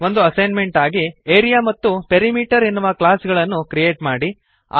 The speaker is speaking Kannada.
ಒಂದು ಅಸೈನ್ಮೆಂಟ್ ಎಂದು ಆರಿಯಾ ಮತ್ತು ಪೆರಿಮೀಟರ್ ಎನ್ನುವ ಕ್ಲಾಸ್ ಗಳನ್ನು ಕ್ರಿಯೇಟ್ ಮಾಡಿರಿ